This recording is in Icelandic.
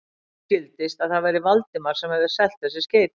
Henni skildist, að það væri Valdimar sem hefði selt þessi skeyti.